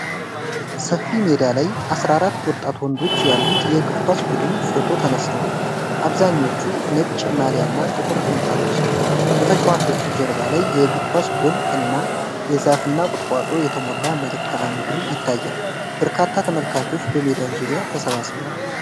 ሰፊ ሜዳ ላይ አስራ አራት ወጣት ወንዶች ያሉት የእግር ኳስ ቡድን ፎቶ ተነስተዋል። አብዛኞቹ ነጭ ማልያና ጥቁር ቁምጣ ለብሰዋል። በተጫዋቾቹ ጀርባ ላይ የእግር ኳስ ጎል እና የዛፍና ቁጥቋጦ የተሞላ መልክዓ ምድር ይታያል። በርካታ ተመልካቾች በሜዳው ዙሪያ ተሰብስበዋል።